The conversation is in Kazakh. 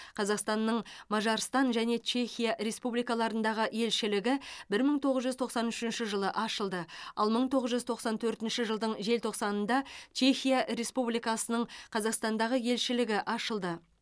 қазақстан мажарстан және чехия республикаларындағы елшілігі мың тоғыз жүз тоқсан үшінші жылы ашылды ал мың тоғыз жүз тоқсан төртінші жылдың желтоқсанында чехия республикасының қазақстандағы елшілігі ашылды